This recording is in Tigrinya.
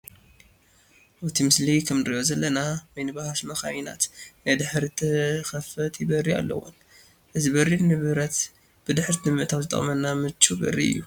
ኣብቲ ምስሊ ከምንሪኦ ዘለና ሚኒባስ መኻይናት ናይ ድሕሪት ተኸፋቲ በሪ ኣለወን፡፡ እዚ በሪ ንብረት ብድሕሪት ንምእታው ዝጠቕመና ምቹው በሪ እዩ፡፡